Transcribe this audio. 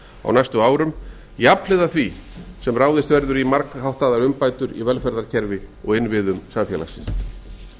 á næstu árum jafnhliða var sem ráðist verður í margháttaðar umbætur í velferðarkerfi og innviðum samfélagsins